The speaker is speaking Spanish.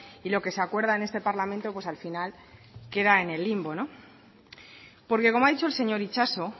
y lo que se acuerda en este parlamento pues al final queda en el limbo porque como ha dicho el señor itxaso